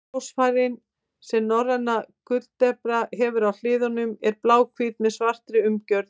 Ljósfærin sem norræna gulldeplan hefur á hliðum eru bláhvít með svartri umgjörð.